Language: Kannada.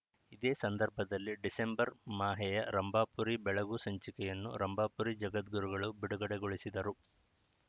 ಇದೇ ಸಂದರ್ಭದಲ್ಲಿ ಡಿಸೆಂಬರ್‌ ಮಾಹೆಯ ರಂಭಾಪುರಿ ಬೆಳಗು ಸಂಚಿಕೆಯನ್ನು ರಂಭಾಪುರಿ ಜಗದ್ಗುರುಗಳು ಬಿಡುಗಡೆಗೊಳಿಸಿದರು